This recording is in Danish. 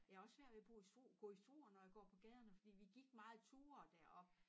Jeg har også svært ved at bo i gå i Struer når jeg går på gaderne fordi vi gik meget ture deroppe